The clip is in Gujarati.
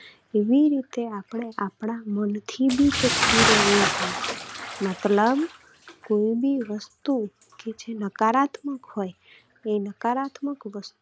એવી રીતે આપણે આપણા માંથી પણ ચોખ્ખું રહેવું જોઈએ મતલબ કોઈ પણ વસ્તુ કે જે નકારાત્મક હોય એ નકારાત્મક વસ્તુ